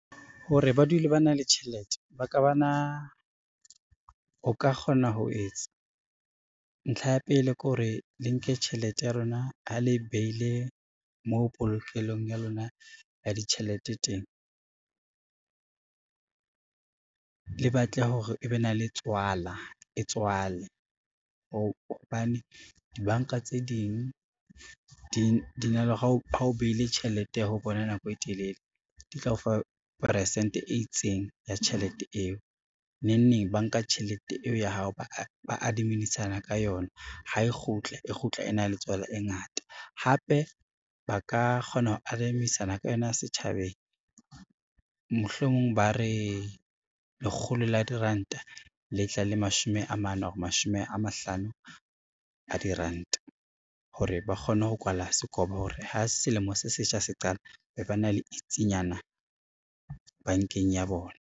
Hore ba dule ba na le tjhelete, ntlha ya pele ke hore le nke tjhelete ya lona ha le beile mo polokelong ya lona ya ditjhelete teng, le batle hore e be na le tswala e tswale hobane dibanka tse ding di na le ha o behile tjhelete ho bona nako e telele di tla o fa peresente e itseng ya tjhelete eo, nengneng ba nka tjhelete eo ya hao, ba adimisana ka yona ha e kgutle e kgutla e na le tswala e ngata. Hape ba ka kgona ho adimisana ka yona ya setjhabeng, mohlomong ba re lekgolo la diranta le tla le mashome a mane or mashome a mahlano a diranta hore ba kgone ho kwala sekobo hore ha selemo se setjha se qala, be ba na le itsinyana bankeng ya bona.